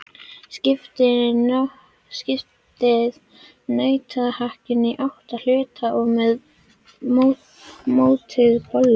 Skiptið nautahakkinu í átta hluta og mótið bollur.